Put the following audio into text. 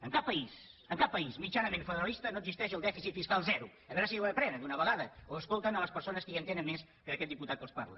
en cap país en cap país mitjanament federalista no existeix el dèficit fiscal zero a veure si ho aprenen d’una vegada o escolten les persones que hi entenen més que aquest diputat que els parla